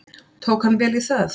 Tók hann vel í það.